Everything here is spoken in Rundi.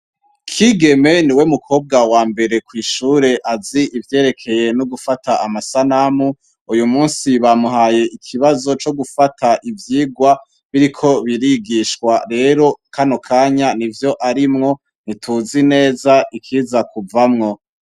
Kigeme niwe mukobwa wambere kw'ishuri azi ivyerekeye nugufata amasanamu. Uyumusi bamuhaye ikibazo cogufata uvyigwa biriko birigishwa rero kanokanya nivyo arimwo ntituzi neza ikiza kuvamwo.